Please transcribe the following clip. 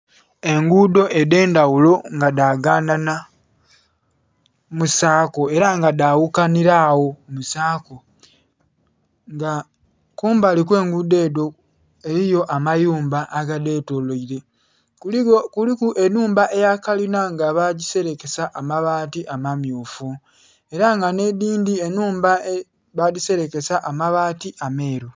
Enguudo edh'endhaghulo nga dhaganana mu saako ela nga dhaghukanhila agho mu saako nga kumbali kwe enguudo edho eliyo amayumba aga dhetoloire. Kuliku ennhumba eya kalina nga baagiselekesa amabaati amammyufu ela nga nh'edhindhi ennhumba badhiselekesa amabaati ameeru.